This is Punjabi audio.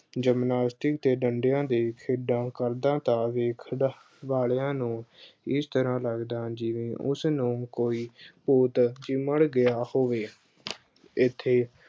Gymnastic ਦੇ ਡੰਡਿਆਂ ਤੇ ਸਿੱਧਾ ਖੜਦਾ ਤਾਂ ਵੇ ਅਹ ਖਣ ਵੇਖਣ ਵਾਲਿਆਂ ਨੂੰ ਇਸ ਤਰ੍ਹਾਂ ਲੱਗਦਾ ਜਿਵੇਂ ਉਸਨੂੰ ਕੋਈ ਭੂਤ ਚਿੰਬੜ ਗਿਆ ਹੋਵੇ ਇੱਥੇ